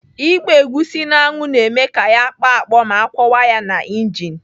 Ịgba egusi n'anwụ na-eme ya ya akpọ akpọ ma akwọwa ya na injin.